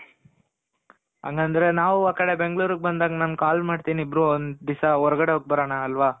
ಹಂಗಂದ್ರೆ ನಾವು ಆ ಕಡೆ ಬೆಂಗ್ಳೂರ್ಗ್ ಬಂದಾಗ ನಾನು call ಮಾಡ್ತಿನಿ ಇಬ್ರು ಒಂದಿಸ ಹೊರ್ಗಡೆ ಹೋಗ್ ಬರಣ ಅಲ್ವ.